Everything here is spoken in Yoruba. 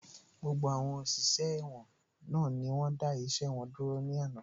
Gbogbo àwọn òṣìṣẹ́ ẹ̀wọ̀n náà ni wọ́n dá iṣẹ́ wọn dúró ní àná